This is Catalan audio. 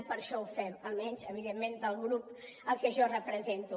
i per això ho fem almenys evidentment el grup al que jo represento